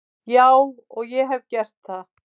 Já og ég hef gert það.